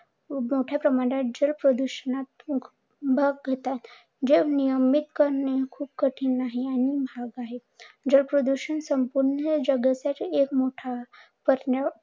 मोठ्या प्रमाणात जल प्रदूषणात करतात. जे नियमित करणे खूप कठीण आहे आणि महाग आहे. जल प्रदूषण संपूर्ण जगात एक मोठा